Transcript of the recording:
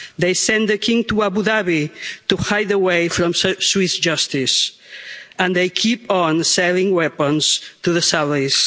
They sent the King to Abu Dhabi to hide away from Swiss justice and they keep on selling weapons to the Saudis.